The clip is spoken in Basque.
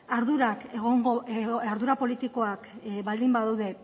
ardura politikoak baldin badaude